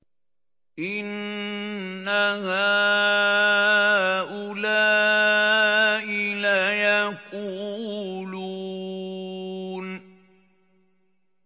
إِنَّ هَٰؤُلَاءِ لَيَقُولُونَ